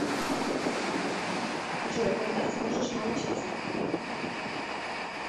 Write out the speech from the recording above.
джой а когда сможешь научиться